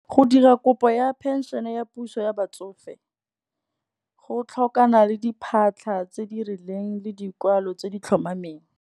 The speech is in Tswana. Go dira kopo ya phenšene ya puso ya batsofe, go tlhokana le diphatlha tse di rileng le dikwalo tse di tlhomameng.